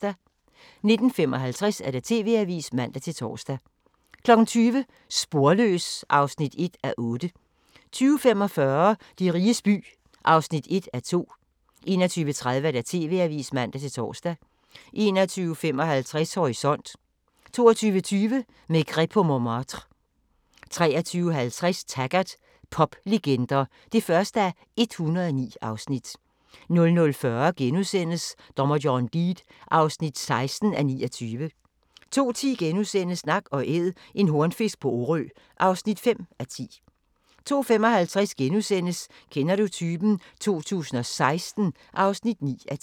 19:55: TV-avisen (man-tor) 20:00: Sporløs (1:8) 20:45: De riges by (1:2) 21:30: TV-avisen (man-tor) 21:55: Horisont 22:20: Maigret på Montmartre 23:50: Taggart: Poplegender (1:109) 00:40: Dommer John Deed (16:29)* 02:10: Nak & Æd – en hornfisk på Orø (5:10)* 02:55: Kender du typen? 2016 (9:10)*